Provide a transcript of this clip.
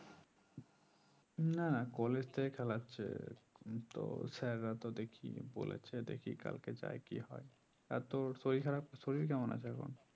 না না college থেকে খেলাচ্ছে তো sir রা তো দেখে বলেছে দেখি কালকে যায় কি হয় আর তোর শরীর খারাপ শরীর কেমন আছে এখন